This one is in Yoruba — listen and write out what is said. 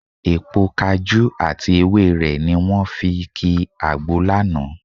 Èpo kajú àti ewé rẹ̀ ni wọ́n fi ki àgbo lánàá